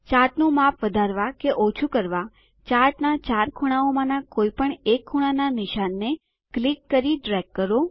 ચાર્ટનું માપ વધારવા કે ઓછું કરવા ચાર્ટના ચાર ખૂણાઓમાના કોઈપણ એક ખૂણાનાં નિશાનને ક્લિક કરી ડ્રેગ કરો